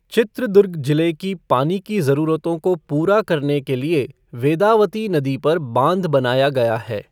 चित्रदुर्ग जिले की पानी की जरूरतों को पूरा करने के लिए वेदावती नदी पर बांध बनाया गया है।